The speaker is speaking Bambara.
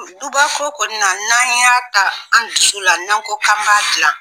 Duba ko kɔni na n'an y'a ta an dusu la, n'an ko k'an b'a dilan